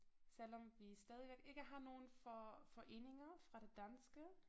Selvom vi stadigvæk ikke har nogen for foreninger fra det danske